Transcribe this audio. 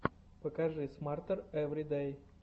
покажи смартер эври дэй